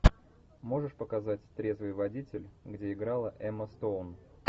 можешь показать трезвый водитель где играла эмма стоун